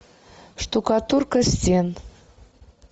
штукатурка стен